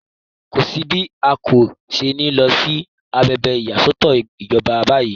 Kò sí bí a kò ṣe ní lọ sí agbègbè ìyàsọtọ̀ ìjọba báyìí.